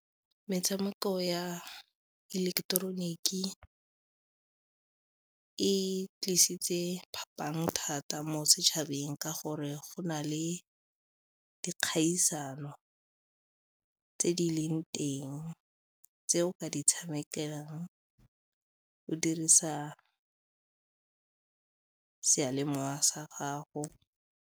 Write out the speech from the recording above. Metshameko ya ileketeroniki e tlisitse phapang thata mo setšhabeng ka gore go na le dikgatisano tse di leng teng tse o ka di tshamekelang o dirisa seyalemowa sa gago.